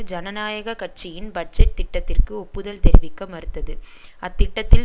ஜனநாயக கட்சியின் பட்ஜெட் திட்டத்திற்கு ஒப்புதல் தெரிவிக்க மறுத்தது அத்திட்டத்தில்